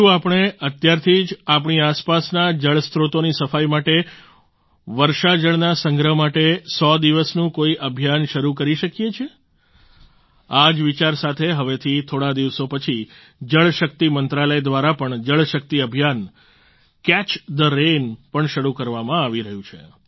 શું આપણે અત્યારથી જ આપણી આસપાસના જળસ્ત્રોતોની સફાઈ માટે વર્ષા જળના સંગ્રહ માટે 100 દિવસનું કોઈ અભિયાન શરૂ કરી શકીએ છીએ આ જ વિચાર સાથે હવેથી થોડા દિવસો પછી જળ શક્તિ મંત્રાલય દ્વારા પણ જળ શક્તિ અભિયાન કેચ થે રેન પણ શરૂ કરવામાં આવી રહયું છે